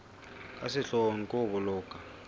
ka sehloohong ke ho boloka